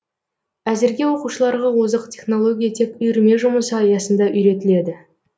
әзірге оқушыларға озық технология тек үйірме жұмысы аясында үйретіледі